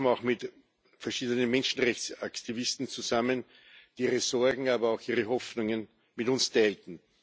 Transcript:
Wir trafen auch mit verschiedenen Menschenrechtsaktivisten zusammen, die ihre Sorgen, aber auch ihre Hoffnungen mit uns teilten.